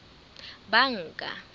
banka